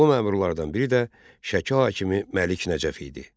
Bu məmurlardan biri də Şəki hakimi Məlik Nəcəf idi.